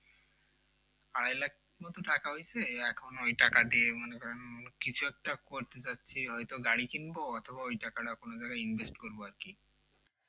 আড়াই লাখ মতো টাকা হইছে এখন ওই টাকা দিয়ে মনে করেন কিছু একটা করতে যাচ্ছি হয়তো একটা গাড়ি কিনব অথবা ওই টাকা কোন জায়গায় ইনভেস্ট করব আরকি